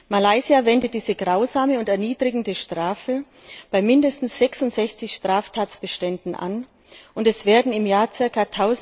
Malaysia wendet diese grausame und erniedrigende Strafe bei mindestens 66 Straftatbeständen an, und es werden im Jahr ca.